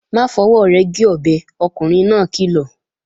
Má fọwọ́ rẹ̀ gé ọbẹ̀, ọkùnrin náà kìlọ̀!